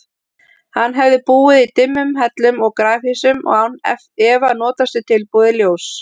Hann hefði búið í dimmum hellum og grafhýsum og án efa notast við tilbúið ljós.